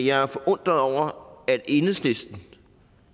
jeg er forundret over at enhedslisten